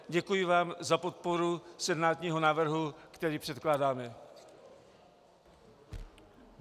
Děkuji vám za podporu senátního návrhu, který předkládáme.